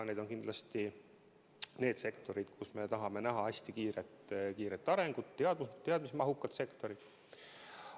Need on kindlasti need sektorid, kus me tahame näha hästi kiiret arengut, väga teadmismahukad sektorid.